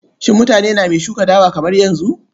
Shin mutane name shuka dawa kamar yanzu?